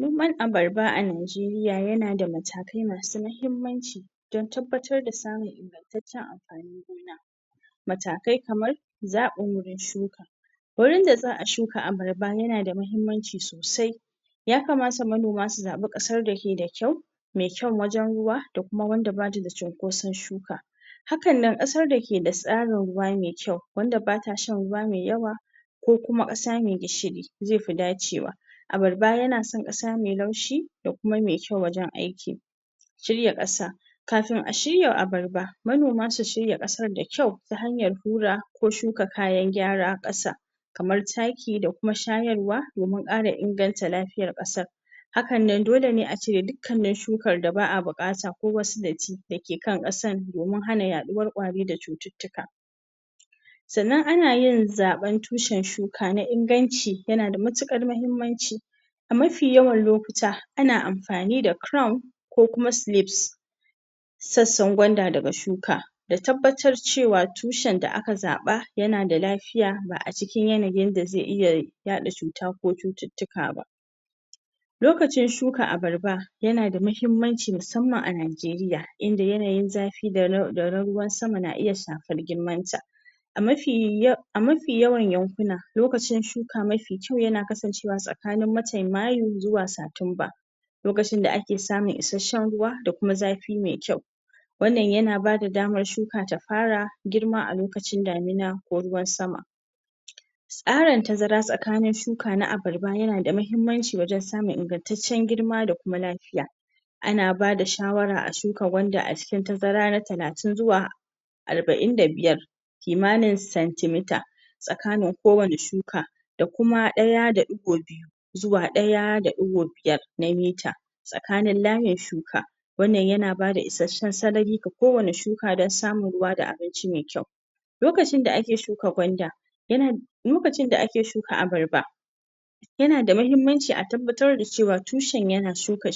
Noman abarba a Najeriya yana da matakai masu mahimmanci don tabbatar da samun ingantaccen amfanin gona matakai kamar zaɓin wurin shuka wurin da za shuka abarba yana da muhimmanci sosai ya kamata manoma su zaɓi ƙasar da ke da kyau me kyau wajen ruwa da kuma wanda ba ta da cinkoson shuka hakan nan ƙasar da ke da tsarin ƙasa mai kyau wadda ba ta shan ruwa mai yawa ko kuma ƙasa mai gishiri zai fi dacewa Abarba yana son ƙasa mai laushi da kuma mai kyau wajen aiki Shirya ƙasa kafin a shirya abarba manoma su shirya ƙasar da kyau ta hanyar hura ko shuka kayan gyara ƙasa kamar taki da kuma shayarwa domin ƙara inganta lafiyara ƙasa Hakan nan dole ne a cire dukkanin shukar da ba a buƙata ko kuma datti da ke kan ƙasar domin hana yaɗuwar ƙwari da cututtuka sannan ana yin zaɓen tushen shuka na inganci yana da matuƙar muhimmanci mafi yawan lokuta ana amfani da chrome ko kuma sleeves sassan gwanda daga shuka da tabbatar cewa tushen da aka zaɓa yana da lafiya lafiya ba a cikin yanayin da zai iya yaɗa cuta ko cututtuka ba lokacin shuka abarba yana da muhimmanci musamman a Najeriya in da yanayin zafi da ra ra na ruwan sama na iya shafar girmanta a mafi, a mafi yawan yankuna lokacin shuka mafi kyau yana kasancewa tsakanin watan mayu zuwa satumba. lokacin da ake samun isasshen ruwa da kuma zafi mai kyau wannan yana ba da damar shuka ta fara girma alokacin damina ko ruwan sama tasarin tazara tsakanin shuka na abarba yana ba da muhimmanci wajen samun ingantaccen girma da kuma lafiya ana ba da shawara a shuka gwanda a cikin tazara na talatin zuwa arba'in da biyar kima nin centi meter tsakanin kowane shuka da kuma ɗaya da ɗigo biyu zuwa ɗaya da ɗigo biyar na mita tsakanin layin shuka wannan yana ba da isasshen sarari ga kowane shuka don samun abinci da ruwa mai kyau lokacin da ake shuka gwanda, irin lokacin da ake shuka abarba yana da muhimmanci a tabbatar da cewa tushen yana shuka